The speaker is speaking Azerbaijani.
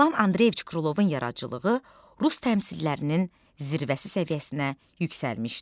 İvan Andreyeviç Krılovun yaradıcılığı rus təmsillərinin zirvəsi səviyyəsinə yüksəlmişdi.